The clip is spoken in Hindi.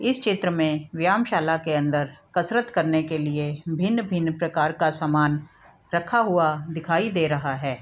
इस चित्र में व्यायमशाला के अंदर कसरत करने के लिए भिन्न-भिन्न प्रकार का सामान रखा हुआ दिखाई दे रहा है ।